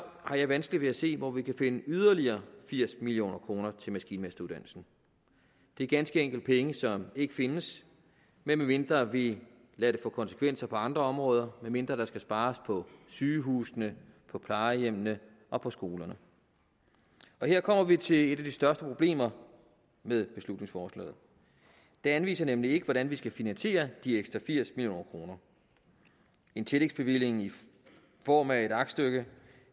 har jeg vanskeligt ved at se hvor vi kunne finde yderligere firs million kroner til maskinmesteruddannelsen det er ganske enkelt penge som ikke findes medmindre vi lader det få konsekvenser for andre områder medmindre der skal spares på sygehusene på plejehjemmene og på skolerne her kommer vi til et af de største problemer med beslutningsforslaget det anviser nemlig ikke hvordan vi skal finansiere de ekstra firs million kroner en tillægsbevilling i form af et aktstykke